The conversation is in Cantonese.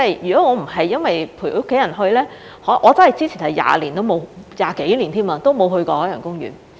若非這次陪家人去，我之前真是20多年都沒有去過海洋公園。